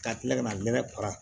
Ka kila ka na nɛnɛ para